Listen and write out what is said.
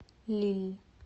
лилль